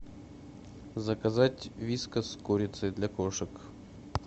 заказать вискас с курицей для кошек